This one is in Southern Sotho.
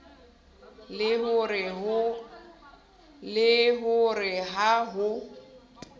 le ho re ha ho